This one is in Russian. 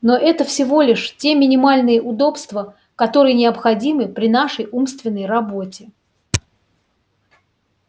но это всего лишь те минимальные удобства которые необходимы при нашей умственной работе